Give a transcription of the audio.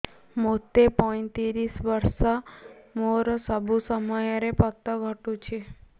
ମୋତେ ପଇଂତିରିଶ ବର୍ଷ ମୋର ସବୁ ସମୟରେ ପତ ଘଟୁଛି